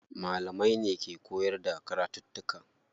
Malamai ne ke koyar da karatuttuka.